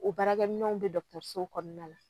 O baarakɛminɛnw bɛ dɔgɔtɔrɔso kɔnɔna na